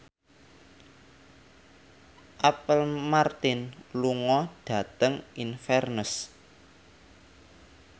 Apple Martin lunga dhateng Inverness